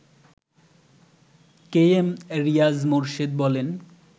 কে M Riaz Morshed বলেন